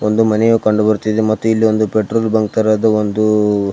ಒಂದು ಮನೆಯು ಕಂಡುಬರುತ್ತಿದೆ ಮತ್ತು ಇಲ್ಲಿ ಪೆಟ್ರೋಲ್ ಬಂಕ್ ತರಹದ್ದು ಒಂದು --